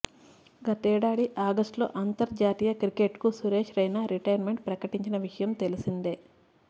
గతేడాది ఆగస్టులో అంతర్జాతీయ క్రికెట్కు సురేశ్ రైనా రిటైర్మెంట్ ప్రకటించిన విషయం తెలిసిందే